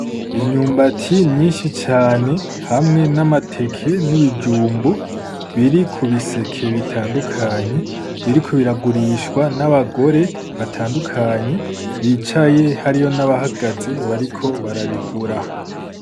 Imyumbati myinshi cane hamwe n’amateke n’ibijumbu biri ku biseke bitandukanye biriko biragurishwa n’abagore batandukanye bicaye hariyo n’abahagaze bariko barabigura.